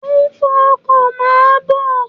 Mo ń fọ ọkọ, máa bọ̀.